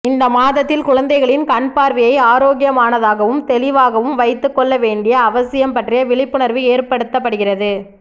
இந்த மாதத்தில் குழந்தைகளின் கண் பார்வையை ஆரோக்கியமானதாகவும் தெளிவாகவும் வைத்துக்கொள்ள வேண்டிய அவசியம் பற்றிய விழிப்புணர்வு ஏற்படுத்தப்படுகிறது